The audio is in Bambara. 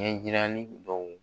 Ɲɛjirali dɔw